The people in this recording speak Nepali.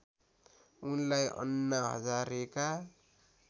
उनलाई अन्ना हजारेका